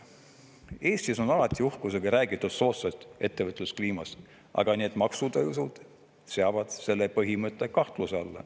Eestis on alati uhkusega räägitud soodsast ettevõtluskliimast, aga need maksutõusud seavad selle põhimõtte kahtluse alla.